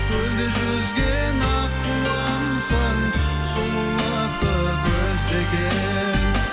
көлде жүзген аққуымсың сұлулықты көздеген